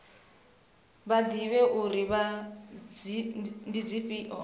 vha ḓivhe uri ndi dzifhio